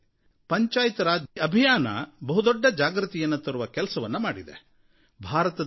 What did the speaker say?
April 24 ಅಂದರೆ ಇವತ್ತು ಹೆಚ್ಚಿನ ಸಂಖ್ಯೆಯಲ್ಲಿ ಆದಿವಾಸಿ ಬಾಂಧವರು ವಾಸಿಸುವಂಥ ಝಾರಖಂಡ್ ಗೆ ಹೋಗಿ ಅಲ್ಲಿ ಪಂಚಾಯತ್ ರಾಜ್ ದಿನದ ಆಚರಣೆಯಲ್ಲಿ ಭಾಗವಹಿಸಿದ್ದೇನೆ